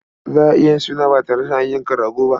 Za a iya yin suna ba tare da an yanka rago ba.